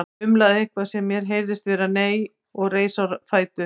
Umlaði eitthvað sem mér heyrðist vera nei og reis á fætur.